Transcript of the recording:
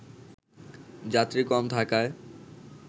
যাত্রী কম থাকায়